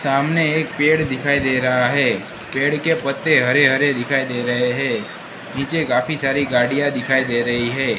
सामने एक पेड़ दिखाई दे रहा हैं पेड़ के पत्ते हरे हरे दिखाई दे रहे हैं नीचे काफी सारी गाड़िया दिखाई दे रही हैं।